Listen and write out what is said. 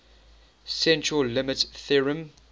central limit theorem